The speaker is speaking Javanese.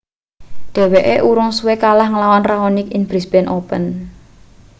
dheweke urung suwe kalah ngelawan raonic ing brisbane open